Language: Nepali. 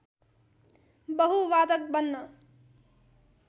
बहु वादक बन्न